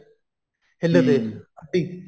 ਹਿੱਲਦੇ ਅੱਡੀ